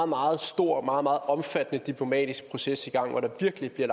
meget stor og meget meget omfattende diplomatisk proces i gang hvor der virkelig bliver